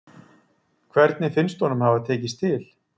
Hvernig finnst honum það hafa tekist til?